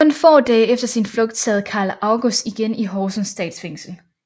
Kun få dage efter sin flugt sad Carl August igen i Horsens Statsfængsel